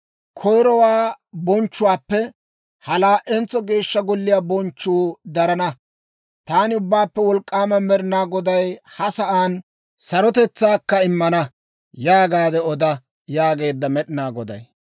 Koyirowaa bonchchuwaappe ha laa"entso Geeshsha Golliyaa bonchchuu darana; taani Ubbaappe Wolk'k'aama Med'inaa Goday ha sa'aan sarotetsaakka immana› yaagaade oda» yaageedda Med'inaa Goday.